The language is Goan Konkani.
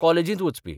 कॉलेजीत वचपी.